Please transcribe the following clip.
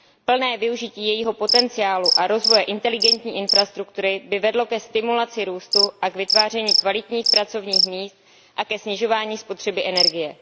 Plné využití jejího potenciálu a rozvoje inteligentní infrastruktury by vedlo ke stimulaci růstu a k vytváření kvalitních pracovních míst a ke snižování spotřeby energie.